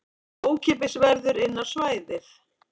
Ókeypis verður inn á svæðið